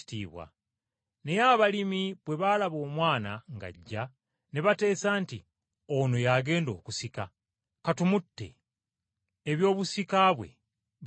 “Naye abalimi bwe baalaba omwana ng’ajja ne bateesa nti, ‘Ono y’agenda okusika, ka tumutte, ebyobusika bwe biriba byaffe!’